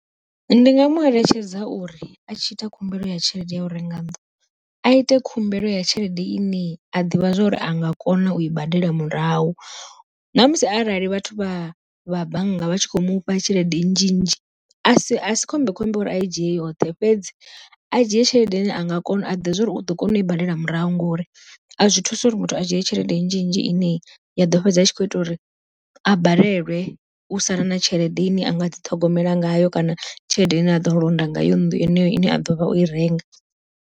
Ndi nga mueletshedza uri a tshi ita khumbelo ya tshelede ya u renga nnḓu, a ite khumbelo ya tshelede ine a ḓivha zwa uri a nga kona u i badela murahu. Ṋamusi arali vhathu vha vha bannga vha tshi khou mufha tshelede nnzhi nnzhi, a si a si khombekhombe uri a i dzhie yoṱhe, fhedzi a dzhie tshelede ine anga kona a ḓivha zwa uri u ḓo kona u i badela murahu ngori a zwi thusa uri muthu a dzhie tshelede nnzhi nnzhi ine ya ḓo fhedza a tshi kho ita uri a balelwe u sala na tshelede ine a nga dzi ṱhogomela ngayo kana tshelede ine a ḓo londa ngayo nnḓu yeneyo ine a ḓovha oi renga.